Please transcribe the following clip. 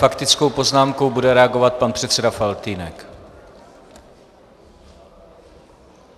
Faktickou poznámkou bude reagovat pan předseda Faltýnek.